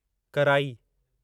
कराई